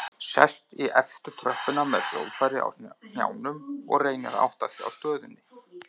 Sest í efstu tröppuna með hljóðfærið á hnjánum og reynir að átta sig á stöðunni.